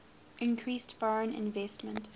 increased foreign investment